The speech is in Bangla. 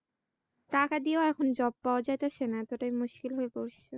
টাকা দিয়েও এখন job পাওয়া যাইতাছেনা এতটাই মুস্কিল হয়ে পড়ছে